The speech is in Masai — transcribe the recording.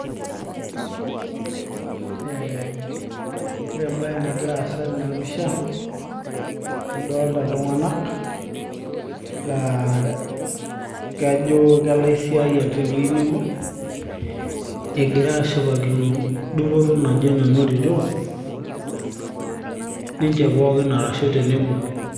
ee ore embaye nagira aasa tenapisha nadolta iltung'anak laa kajo kelaisiiayiak tewueji nebo egira ashipakino dupoto naje nanotito ninche pookin arshu tenebo.